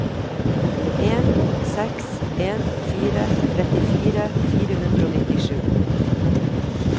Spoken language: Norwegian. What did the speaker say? en seks en fire trettifire fire hundre og nittisju